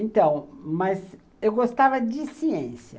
Então, mas eu gostava de ciência.